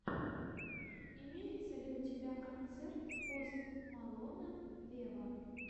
имеется ли у тебя концерт пост малона вево